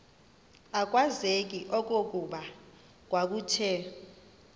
akwazeki okokuba kwakuthe